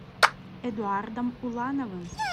эдуардом улановым